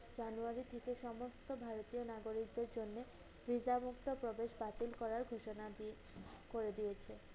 জানুয়ারি থেকে সমস্ত ভারতীয় নাগরিকদের জন্য visa মুক্ত প্রবেশ বাতিল করার ঘোষণা দি~ করে দিয়েছে।